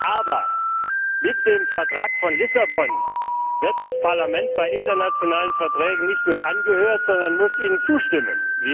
Aber mit dem Vertrag von Lissabon wird das Parlament bei internationalen Verträgen nicht nur angehört, sondern muss ihnen zustimmen.